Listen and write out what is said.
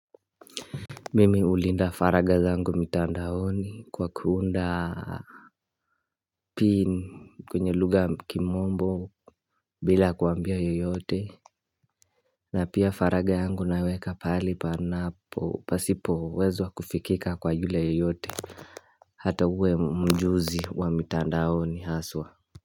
Mimi hulinda faragha zangu mtandaoni kwa kuunda Pin kwenye lugha ya kimombo bila kuambia yoyote na pia faragha yangu naweka pali panapo pasipowezwa kufikika kwa yule yoyote Hata uwe mjuzi wa mitandaoni haswa.